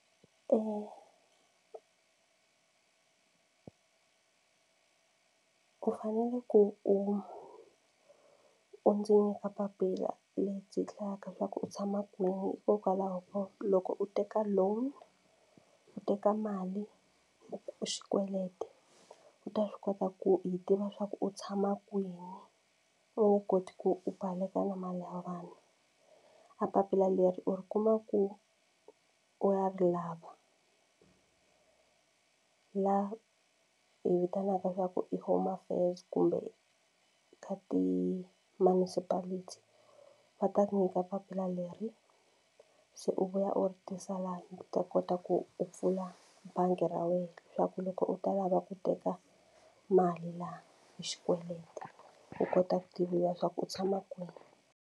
Eya u fanele ku u u ndzi nyika papila lebyi hlayaka leswaku u tshama kwini hikokwalaho ko loko u teka loan ku teka mali xikweleti u ta swi kota ku yi tiva leswaku u tshama kwihi u wu koti ku u baleka na mali ya vanhu. A papila leri u ri kuma ku u ya ri lava la hi vitanaka ku i home affairs kumbe ka ti-municipality va ta ku nyika papila leri se u vuya u ri tisa laha u ta kota ku u pfula bangi ra wena swa ku loko u ta lava ku teka mali laha hi xikweleti u kota ku tiviwa swa ku u tshama kwini.